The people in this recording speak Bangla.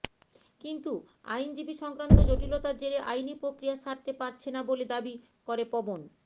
কিন্তু আইনজীবী সংক্রান্ত জটিলতার জেরে আইনি প্রক্রিয়া সারতে পারছে না বলে দাবি করে পবন